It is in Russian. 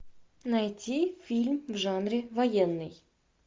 найти фильм в жанре военный